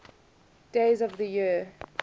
days of the year